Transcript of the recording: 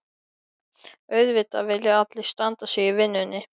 Auðvitað vilja allir standa sig í vinnunni.